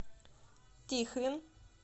тихвин